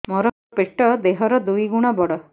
ମୋର ପେଟ ଦେହ ର ଦୁଇ ଗୁଣ ବଡ